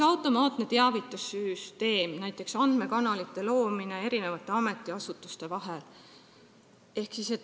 Automaatne teavitussüsteem, näiteks andmekanalite loomine ametiasutuste vahel.